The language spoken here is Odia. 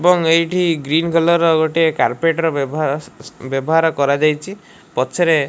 ଏବଂ ଏଇଠି ଗ୍ରୀନ କଲର ଗୋଟିଏ କାର୍ପେନ୍ଟର ବ୍ୟବହାର କରାଯାଇଛି ପଛରେ।